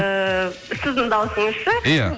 ыыы сіздің дауысыңыз ше иә